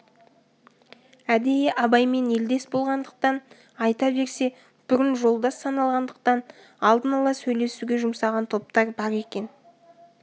әдейі абаймен елдес болғандықтан айта берсе бұрын жолдас саналғандықтан алдын ала сөйлесуге жұмсаған топтар бар екен